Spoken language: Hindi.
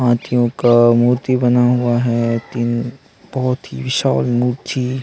हाथियों का मूर्ति बना हुआ है । तीन बहुत ही विशाल मूर्ति--